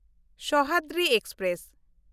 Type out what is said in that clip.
Sahyadri express